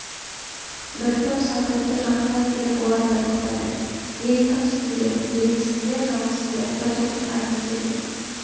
бір топ салт атты жақындап келіп олар да тоқтады ей кімсіңдер елмісіңдер жаумысыңдар бір жігіт атын тебініп